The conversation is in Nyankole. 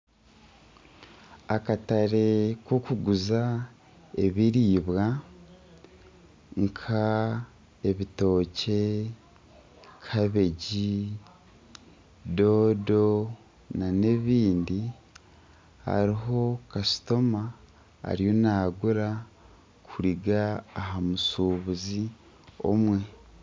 Akatare k'okuguza ebiribwa nka ebitookye, kabegi , doodo nana ebindi hariho kasitoma ariyo nagura kuriga aha mushubuzi omwe.